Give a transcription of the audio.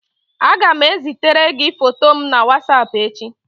Aga m ezitere gi foto m na whatapp echi